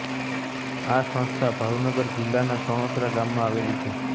આ સંસ્થા ભાવનગર જિલ્લાના સણોસરા ગામમાં આવેલી છે